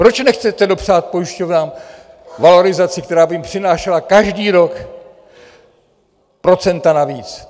Proč nechcete dopřát pojišťovnám valorizaci, která by jim přinášela každý rok procenta navíc?